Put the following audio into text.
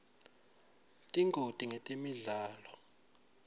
tingoti ngetemidlalo